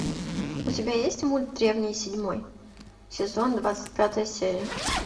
у тебя есть мульт древний седьмой сезон двадцать пятая серия